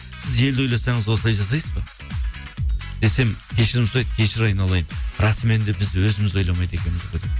сіз елді ойласаңыз осылай жасайсыз ба десем кешірім сұрайды кешір айналайын расымен де біз өзіміз ойламайды екенбіз ғой деп